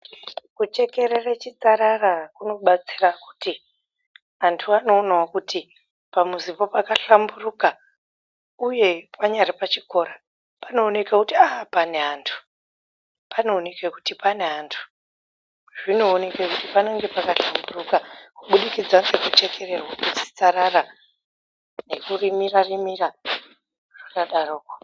Kuchekerere chitsarara kunobatsira kuti antu anoonawo kuti pamuzipo pakahlamburuka uye panyari pachikora panooneka kuti aaa pane antu, panooneka kuti pane antu, zvinooneka ngekuti panenge pakahlamburuka kubudikidza ngekuchekererwa kwechitsarara nekurimira rimira zvakadaroko.